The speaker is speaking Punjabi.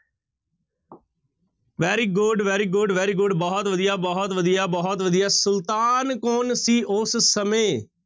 Very good, very good, very good ਬਹੁਤ ਵਧੀਆ, ਬਹੁਤ ਵਧੀਆ, ਬਹੁਤ ਵਧੀਆ ਸੁਲਤਾਨ ਕੌਣ ਸੀ ਉਸ ਸਮੇਂ?